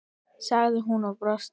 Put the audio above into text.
sagði hún og brosti.